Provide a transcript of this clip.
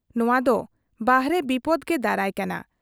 ᱱᱚᱣᱟ ᱫᱚ ᱵᱟᱦᱨᱮ ᱵᱤᱯᱚᱫᱽ ᱜᱮ ᱫᱟᱨᱟᱭ ᱠᱟᱱᱟ ᱾